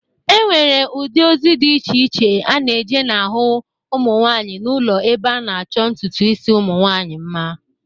E nwere ụdị ozi dị iche iche a na-eje n'ahụ ụmụnwanyị n'ụlọ ebe a na-achọ ntụtụ isi ụmụnwaanyị mma.